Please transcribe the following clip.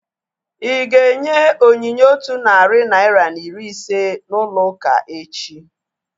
Ịga enye onyinye otu narị naira na iri ise n'ụlọ ụka echi?